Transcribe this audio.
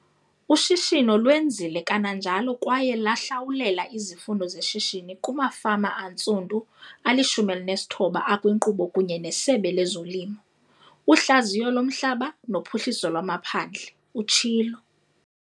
"Ushishino lwenzile kananjalo kwaye lahlawulela izifundo zeshishini kumafama antsundu ali-19 akwinkqubo kunye neSebe lezoLimo, uHlaziyo loMhlaba noPhuhliso lwamaPhandle,"utshilo.